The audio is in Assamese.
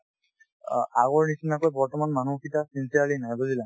অ, আগৰ নিচিনাকৈ বৰ্তমান মানুহ sincerely নাই বুজিলা